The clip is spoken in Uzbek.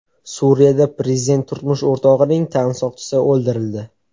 Suriyada prezident turmush o‘rtog‘ining tan soqchisi o‘ldirildi.